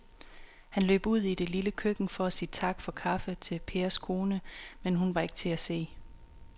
Han løb ud i det lille køkken for at sige tak for kaffe til Pers kone, men hun var ikke til at se.